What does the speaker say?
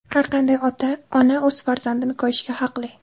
Har qanday ona o‘z farzandini koyishga haqli.